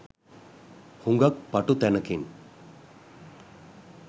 හුඟක් පටු තැනකින්.